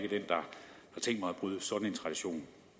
mig